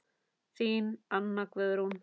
Þín Anna Guðrún.